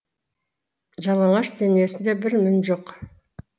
жалаңаш денесінде бір мін жоқ